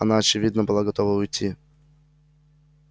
она очевидно была готова уйти